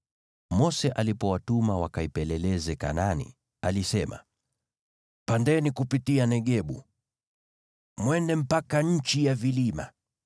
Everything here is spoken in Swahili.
Mose alipowatuma wakaipeleleze Kanaani, alisema, “Pandeni kupitia Negebu, mwende mpaka nchi ya vilima.